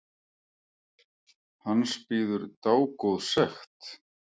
Hans bíður dágóð sekt.